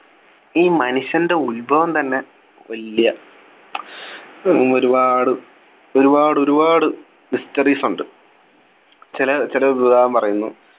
ഈ മനുഷ്യൻ്റെ ഉത്ഭവം തന്നെ വലിയ ഉം ഒരുപാട് ഒരുപാട് ഒരുപാട് Histories ഉണ്ട് ചില ചില ഉദാഹരണം പറയുന്നു